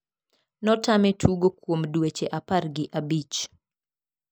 notame tugo kuom dueche apar gi abich.